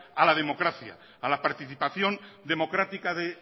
a la democracia a la participación democrática de